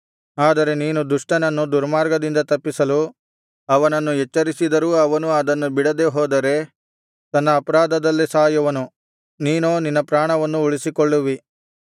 ಆದರೆ ನೀನು ದುಷ್ಟನನ್ನು ದುರ್ಮಾರ್ಗದಿಂದ ತಪ್ಪಿಸಲು ಅವನನ್ನು ಎಚ್ಚರಿಸಿದರೂ ಅವನು ಅದನ್ನು ಬಿಡದೆ ಹೋದರೆ ತನ್ನ ಅಪರಾಧದಲ್ಲೇ ಸಾಯುವನು ನೀನೋ ನಿನ್ನ ಪ್ರಾಣವನ್ನು ಉಳಿಸಿಕೊಳ್ಳುವಿ